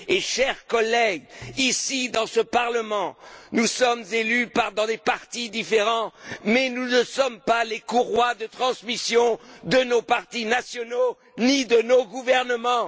Chers collègues, ici, dans ce Parlement, nous sommes élus dans des partis différents, mais nous ne sommes pas les courroies de transmission de nos partis nationaux ni de nos gouvernements.